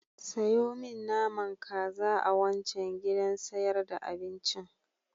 Sayo min naman kaza a wancan gidan sayar da abincin.